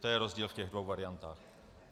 To je rozdíl v těch dvou variantách.